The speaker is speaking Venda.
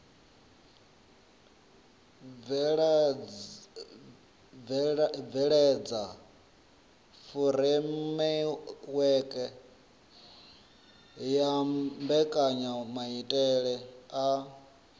bveledza furemiweke ya mbekanyamaitele a